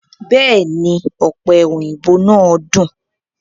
Bẹ́èni, ọ̀pẹ òyìnbó náà dùn.